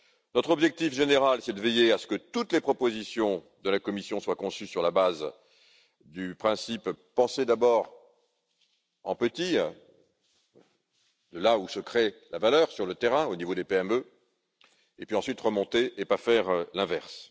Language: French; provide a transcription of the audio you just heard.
Notre objectif général est de veiller à ce que toutes les propositions de la Commission soit conçues sur la base du principe penser d'abord en petit, en partant de là où se crée la valeur sur le terrain, au niveau des PME, pour ensuite remonter, et non pas l'inverse.